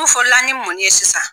Ulu fɔ' la ni mun ye sisan.